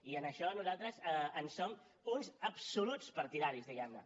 i d’això nosaltres en som uns absoluts partidaris diguem ne